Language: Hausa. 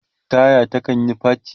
taya ta kanyi faci